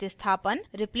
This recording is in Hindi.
रिप्लेसमेंट यानी बदलना और